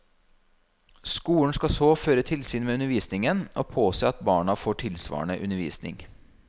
Skolen skal så føre tilsyn med undervisningen og påse at barna får tilsvarende undervisning.